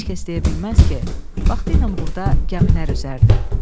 Heç kəs deyə bilməz ki, vaxtı ilə burda gəmilər üzərdi.